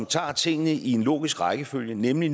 tager tingene i en logisk rækkefølge nemlig